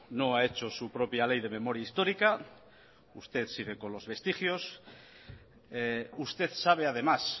no ha hecho su propia ley de memoria histórica usted sigue con los vestigios usted sabe además